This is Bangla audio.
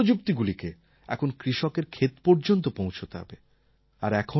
কিন্তু এই প্রযুক্তিগুলিকে এখন কৃষকের ক্ষেত পর্যন্ত পৌঁছতে হবে